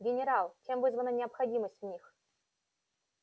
генерал чем вызвана необходимость в них